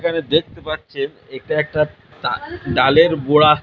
এখানে দেখতে পাচ্ছেন এটা একটা ডা-ডালের গোড়া --